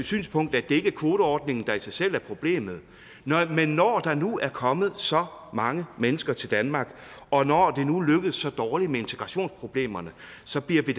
synspunkt at det ikke er kvoteordningen der i sig selv er problemet men når der nu er kommet så mange mennesker til danmark og når det nu lykkes så dårligt med integrationsproblemerne så bliver vi